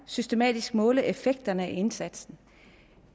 systematisk måle effekterne af indsatsen